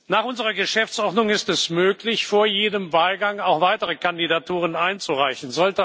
Nach unserer Geschäftsordnung ist es möglich, vor jedem Wahlgang auch weitere Kandidaturen einzureichen.